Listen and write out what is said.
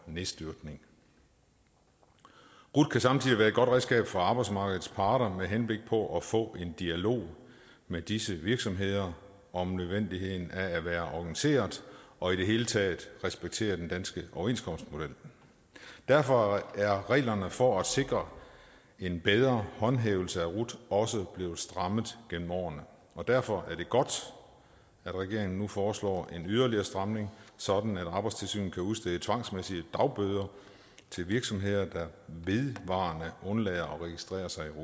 nedstyrtning rut kan samtidig være et godt redskab for arbejdsmarkedets parter med henblik på at få en dialog med disse virksomheder om nødvendigheden af at være organiseret og i det hele taget at respektere den danske overenskomstmodel derfor er reglerne for at sikre en bedre håndhævelse af rut også blevet strammet gennem årene og derfor er det godt at regeringen nu foreslår en yderligere stramning sådan at arbejdstilsynet kan udstede tvangsmæssige dagbøder til virksomheder der vedvarende undlader at registrere sig